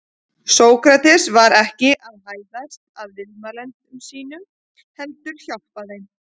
Sókrates var ekki að hæðast að viðmælendum sínum heldur hjálpa þeim.